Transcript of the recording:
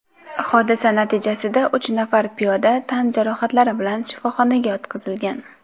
Hodisa natijasida uch nafar piyoda tan jarohatlari bilan shifoxonaga yotqizilgan.